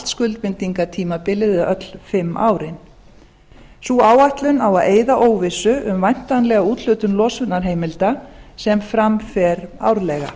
skuldbindinga tímabilið eða öll fimm árin sú áætlun á að eyða óvissu um væntanlega úthlutun losunarheimilda sem fram fer árlega